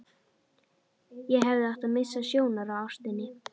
Ég hefði átt að missa sjónar á ástinni.